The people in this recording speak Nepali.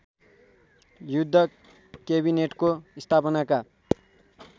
युद्ध केबिनेटको स्थापनाका